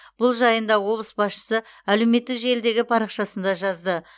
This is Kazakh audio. бұл жайында облыс басшысы әлеуметтік желідегі парақшасында жазды